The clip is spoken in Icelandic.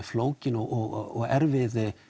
flókinn og erfiðan